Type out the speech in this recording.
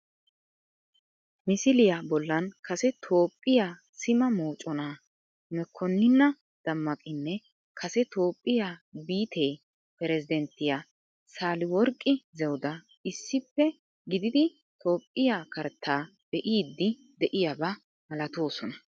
Misiliya bollan kase Toophphiya sima moconaa Mekkonniina Dammaqinne kase Toophphiya biittee perizidenttiya Saaliworqqi Zewuda issippe gididi Toophphiya karttaa be"iiddi de"iyaba malatoosona.